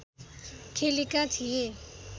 खेलेका थिए